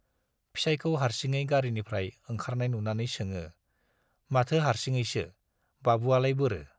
फिसाइखौ हार्सिङै गारिनिफ्राय ओंखारनाय नुनानै सोङो, माथो हार्सिङैसो, बाबुआलाय बोरो?